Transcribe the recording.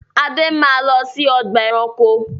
Ade máa lọ sí ọgbà-ẹranko!